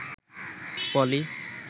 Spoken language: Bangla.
পলি